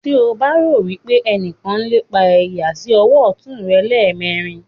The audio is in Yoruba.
tí o bá rò wípé ẹnìkan ń lépa rẹ yà sí ọwọ́ ọ̀tún rẹ lẹ́ẹ̀mẹrin.